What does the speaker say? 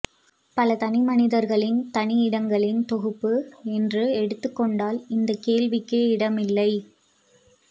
பல தனிமனிதர்களின் தனி இடங்களின் தொகுப்பு என்று எடுத்துக்கொண்டால் இந்தக் கேள்விக்கே இடமில்லை